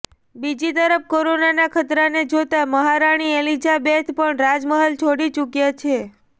બીજી તરફ કોરોનાનાં ખતરાને જોતા મહારાણી એલિઝાબેથ પણ રાજમહેલ છોડી ચુક્યા છે